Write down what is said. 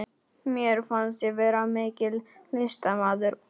Fótleggina ef mannkynssagan væri ekki ennþá búin.